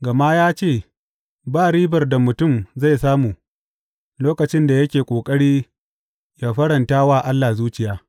Gama ya ce, Ba ribar da mutum zai samu lokacin da yake ƙoƙari yă faranta wa Allah zuciya.’